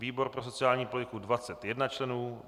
výbor pro sociální politiku 21 členů